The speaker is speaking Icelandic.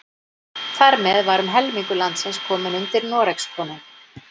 Þar með var um helmingur landsins kominn undir Noregskonung.